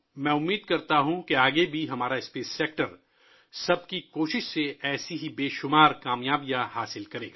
میری خواہش ہے کہ مستقبل میں بھی ہمارا خلائی شعبہ اجتماعی کوششوں سے اس طرح کی بے شمار کامیابیاں حاصل کرے